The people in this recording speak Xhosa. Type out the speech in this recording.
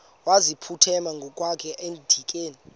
wayeziphuthume ngokwakhe edikeni